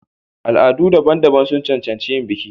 Al'adu daban-daban sun cancanci yin biki.